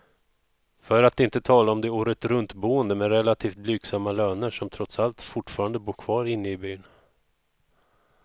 För att inte tala om de åretruntboende med relativt blygsamma löner, som trots allt fortfarande bor kvar inne i byn.